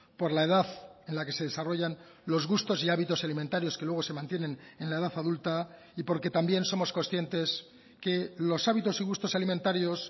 por la edad en la que se desarrollan los gustos y hábitos alimentarios que luego se mantienen en la edad adulta y porque también somos conscientes que los hábitos y gustos alimentarios